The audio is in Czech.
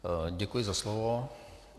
Děkuji za slovo.